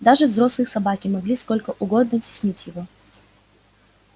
даже взрослые собаки могли сколько угодно теснить его